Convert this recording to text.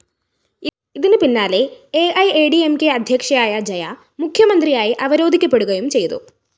ഇതിന് പിന്നാലെ A I A D M K അദ്ധ്യക്ഷയായ ജയ മുഖ്യമന്ത്രിയായി അവരോധിക്കപ്പെടുകയും ചെയ്തു